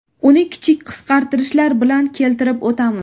Uni kichik qisqartirishlar bilan keltirib o‘tamiz.